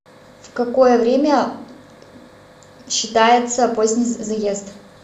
в какое время считается поздний заезд